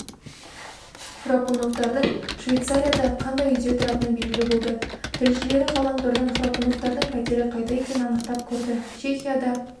храпуновтардың швейцарияда қандай үйде тұратыны белгілі болды тілшілері ғаламтордан храпуновтардың пәтері қайда екенін анықтап көрді чехияда